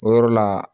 O yɔrɔ la